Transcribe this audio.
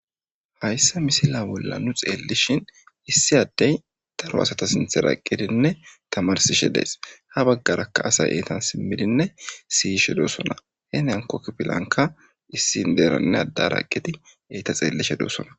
hayssa misila bolla nu xeellishin issi addey daro asata sinthe raqqidinne tamarsishe dees ha baggaraka asay eetan simmidinne siyishe doossona he nankokpilanka issin deeranne addaraqqiti eyta xeellishe doossona